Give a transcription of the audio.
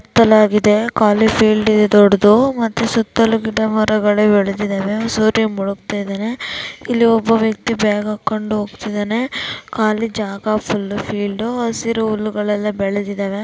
ಕಾಲಿ ಫೀಲ್ಡ್ ಇದೆ ದೊಡ್ದುದು ಮತ್ತೆ ಸುತ್ತಲು ಗಿಡ ಮರಗಳೇ ಬೆಳೆದಿದವೆ ಸೂರ್ಯ ಮುಳುಗ್ತಿದಾನೆ ಇಲ್ಲಿ ಒಬ್ಬ ವ್ಯಕ್ತಿ ಬ್ಯಾಗ್ ಹಾಕೊಂಡ್ ಹೋಗ್ತಿದಾನೆ ಕಾಲಿ ಜಾಗ ಫುಲ್ಲು ಫೀಲ್ಡ್ ಹಸಿರು ಹುಲ್ಲುಗಳೆಲ್ಲಾ ಬೆಳೆದಿದವೆ.